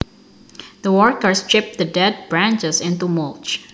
The workers chipped the dead branches into mulch